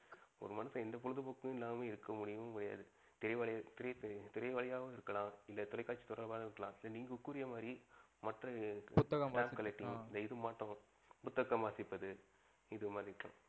ஒரு மனுஷன் எந்த பொழுதுபோகும் இல்லாம இருக்க முடியவே முடியாது. திரை வாயிலவும் இருக்கலாம் இல்ல தொலைகாட்சி வாயிலாவும் இருக்கலாம். இல்ல நீங்க கூறிய மாறி மற்ற புத்தகம் வாசிப்பது இது மாறி